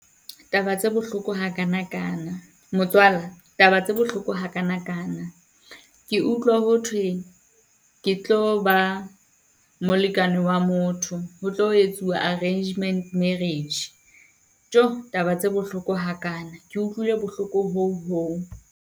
Taba tse bohloko ha kana kana, motswala taba tse bohloko ha kana kana. Ke utlwa ho thwe ke tlo ba molekane wa motho. Ho tlo etsuwa arrangement marriage , taba tse bohloko ha kana, ke utlwile bohloko hoo hoo.